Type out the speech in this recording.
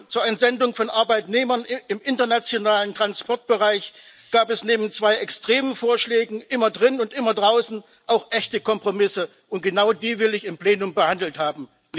Zur Entsendung von Arbeitnehmern im internationalen Transportbereich gab es neben zwei extremen Vorschlägen immer drinnen und immer draußen auch echte Kompromisse, und genau die will ich im Plenum behandelt haben.